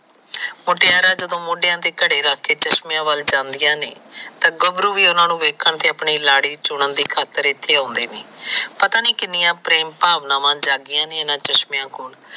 ਮੁਟਿਆਰਾਂ ਜਦੋ ਮੋਢੇ ਕੜੇ ਰੱਖ ਕੇ ਚਸ਼ਮਿਆਂ ਵਾਲਕ ਜਾਂਦੀਆਂ ਨੇ ਤਾ ਗਬਰੂ ਵੀ ਓਹਨਾ ਨੂੰ ਵੇਖਣ ਤੇ ਲਾੜੀ ਚੁਨਣ ਦੀ ਖਾਤਰ ਇਥੇ ਆਉਂਦੇ ਨੇ ਪਤਾ ਨੀ ਕਿੰਨੀਆਂ ਪ੍ਰੇਮ ਪਾਵਣ ਜਾਗਿਆ ਨੇ ਇਹਨਾਂ ਚਸ਼ਮਿਆਂ ਕੋਲ।